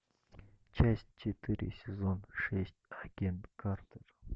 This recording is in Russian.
часть четыре сезон шесть агент картер